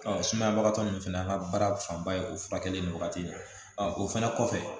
sumayabagatɔ ninnu fɛnɛ an ka baara fanba ye o furakɛli ni wagati de ye o fɛnɛ kɔfɛ